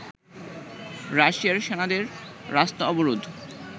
রাশিয়ার সেনাদের রাস্তা অবরোধ